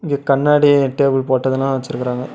இது கண்ணாடி டேபிள் போட்டு எதுனா வெச்சுருக்கறாங்க.